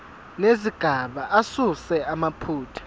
nezigaba asuse amaphutha